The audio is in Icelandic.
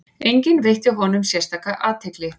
Enginn veitti honum sérstaka athygli.